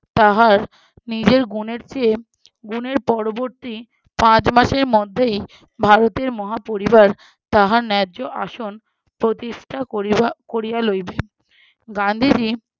তাহার নিজের গুণের চেয়ে গুণের পরবর্তী পাঁচ মাসের মধ্যেই ভারতের মহা পরিবার তাহার ন্যায্য আসন প্রতিষ্ঠা করিবা~ করিয়া লইবে। গান্ধীজী